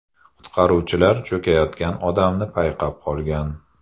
Qutqaruvchilar cho‘kayotgan odamni payqab qolgan.